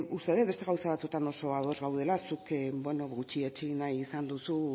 uste dut beste gauza batzuetan oso ados gaudela zuk beno gutxietsi nahi izan duzu